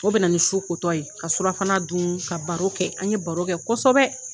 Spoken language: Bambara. O bɛ na ni su ko tɔ ye ka surafana dun ka baro kɛ an ye baro kɛ kɔsɔbɛ.